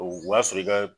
O y'a sɔrɔ i ka